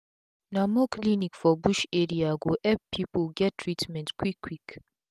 na more clinic for bush area go epp pipu get treatment quick quick